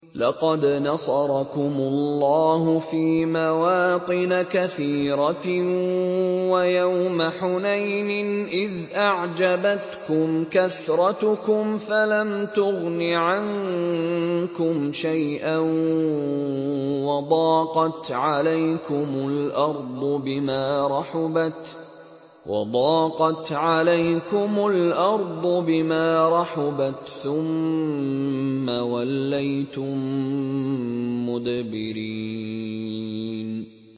لَقَدْ نَصَرَكُمُ اللَّهُ فِي مَوَاطِنَ كَثِيرَةٍ ۙ وَيَوْمَ حُنَيْنٍ ۙ إِذْ أَعْجَبَتْكُمْ كَثْرَتُكُمْ فَلَمْ تُغْنِ عَنكُمْ شَيْئًا وَضَاقَتْ عَلَيْكُمُ الْأَرْضُ بِمَا رَحُبَتْ ثُمَّ وَلَّيْتُم مُّدْبِرِينَ